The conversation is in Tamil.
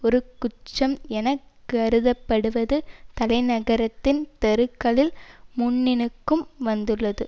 ஒரு குற்றம் என கருதப்படுவது தலைநகரத்தின் தெருக்களில் முன்னினுக்கு வந்துள்ளது